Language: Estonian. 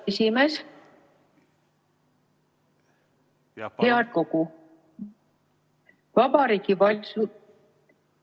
Ma vabandan.